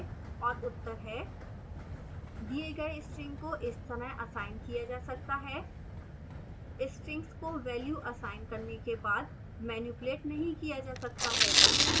और उत्तर हैं दिए गए string को इस तरह असाइन किया जा सकता है